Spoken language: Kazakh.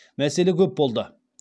мәселе көп болды